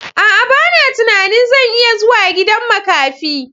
A'a! Bana tunanin zan iya zuwa gidan makafi.